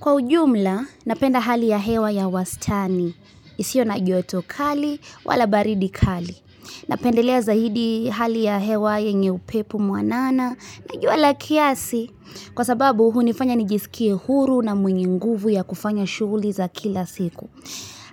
Kwa ujumla, napenda hali ya hewa ya wastani. Isiyo na joto kali wala baridi kali. Napendelea zahidi hali ya hewa yenye upepo mwa nana. Najua la kiasi, kwa sababu huni fanya nijiskie huru na mwenye nguvu ya kufanya shughli za kila siku.